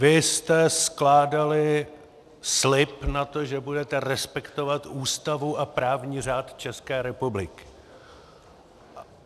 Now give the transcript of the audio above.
Vy jste skládali slib na to, že budete respektovat Ústavu a právní řád České republiky.